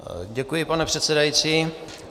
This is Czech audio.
Děkuji, pane předsedající.